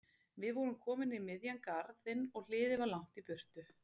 Við vorum komin inn í miðjan garðinn og hliðið var langt í burtu.